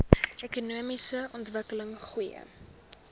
ekonomiese ontwikkeling goeie